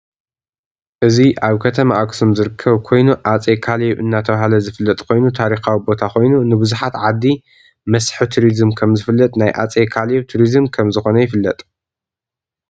እዚ ኣብ ከተማ ኣክሱም ዝርከብ ኮይኑ ኣፄ ካልብ እዳተባህለ ዝፍለጥ ኮይኑ ታረካዊ ቦታ ኮይኑ ንብዛሓት ዓዲ መስብ ቲርዙም ከም ዝፍለጥ ናይ ኣፄ ካልብ ትርዝም ከም ዝኮነ ይፍለጥ።